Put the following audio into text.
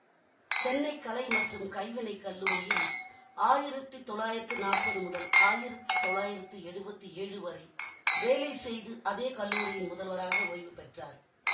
சென்னை கலை மற்றும் கைவினைக் கல்லூரியில் ஆயிரத்தி தொள்ளாயிரத்தி நாப்பது முதல் ஆயிரத்தி தொள்ளாயிரத்தி எழுவத்தி ஏழு வரை வேலை செய்து அதே கல்லூரியின் முதல்வராக ஒய்வு பெற்றார்